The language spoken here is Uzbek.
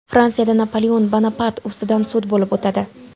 Fransiyada Napoleon Bonapart ustidan sud bo‘lib o‘tadi.